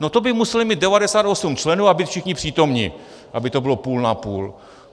No to by museli mít 98 členů a být všichni přítomni, aby to bylo půl na půl.